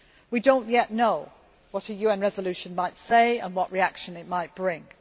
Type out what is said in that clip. We do not yet know what a UN resolution might say and what reaction it might bring.